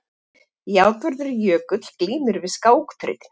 Játvarður Jökull glímir við skákþrautina.